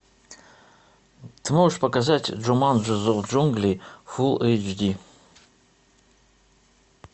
ты можешь показать джуманджи зов джунглей фулл эйч ди